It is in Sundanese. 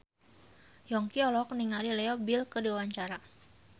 Yongki olohok ningali Leo Bill keur diwawancara